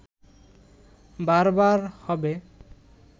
বারবার হবে